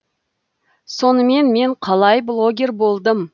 сонымен мен қалай блогер болдым